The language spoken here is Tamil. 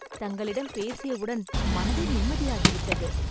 தங்களிடம் பேசியவுடன் மனதே நிம்மதியாகிவிட்டது